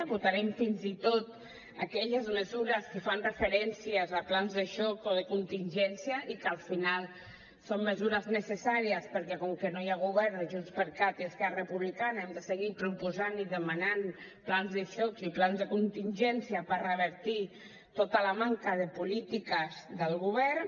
votarem fins i tot aquelles mesures que fan referència a plans de xoc o de contingència i que al final són mesures necessàries perquè com que no hi ha govern de junts per cat i esquerra republicana hem de seguir proposant i demanant plans de xoc i plans de contingència per revertir tota la manca de polítiques del govern